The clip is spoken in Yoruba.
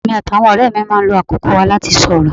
Èmi àti àwọn ọ̀rẹ́ mi máa ń lo àkókò wa láti sorọ́